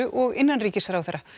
og innanríkisráðherra